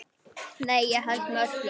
Nei, ég held með öllum.